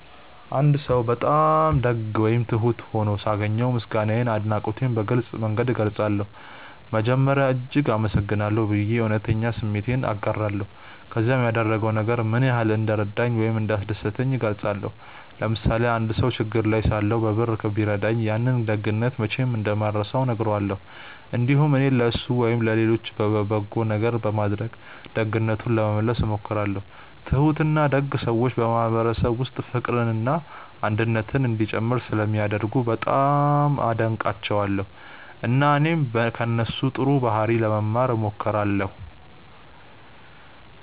አንድ ሰው በጣም ደግ ወይም ትሁት ሆኖ ሳገኘው ምስጋናዬንና አድናቆቴን በግልጽ መንገድ እገልጻለሁ። መጀመሪያ “እጅግ አመሰግናለሁ” ብዬ በእውነተኛ ስሜት እናገራለሁ፣ ከዚያም ያደረገው ነገር ምን ያህል እንደረዳኝ ወይም እንዳስደሰተኝ እገልጻለሁ። ለምሳሌ አንድ ሰው ችግር ላይ ሳለሁ በብር ቢረዳኝ፣ ያንን ደግነት መቼም እንደማልረሳው እነግረዋለሁ። እንዲሁም እኔም ለእሱ ወይም ለሌሎች በጎ ነገር በማድረግ ደግነቱን ለመመለስ እሞክራለሁ። ትሁትና ደግ ሰዎች በማህበረሰብ ውስጥ ፍቅርና አንድነት እንዲጨምር ስለሚያደርጉ በጣም አደንቃቸዋለሁ፣ እና እኔም ከእነሱ ጥሩ ባህሪ ለመማር እሞክራለሁ።